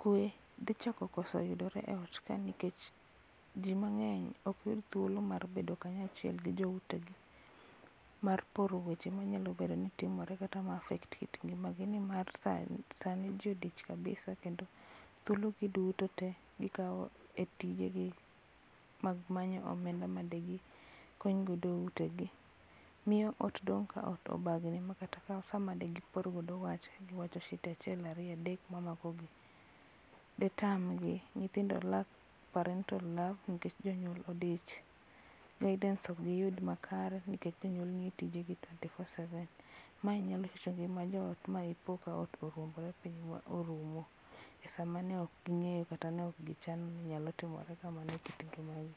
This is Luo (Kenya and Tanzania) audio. kwe dhi chako koso yudore e ot ka nikech jii mangeny ok yud thuolo mar bedo kanyachiel gi joute gi mar poro weche manyalo bedo ni timore kata ma affect kit ngimagi gi nimarsani jii odich kabisa kendo thuolo gi duto tee gikao e tijegi mar manyo omenda ma di gikony godo utegi. Miyo ot dong ka obagni ma kata sama de giporgo wach giwacho shida[cs[ achiel ariyo adek mamako gi detamgi. Nyithindo lack parental love nikech jonyuol odich, guidance ok giyud makare nikech jonyuol nie tijegi twenty four seven. Mae nyalo rocho ngima jo ot ma ipo ka ot oruombore piny ma orumo e sama neok gingenyo kata ne ok gichano ni nyalo timore kamano e kit ngimagi